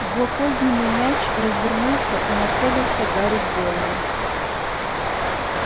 злокозненный мяч развернулся и нацелился гарри в голову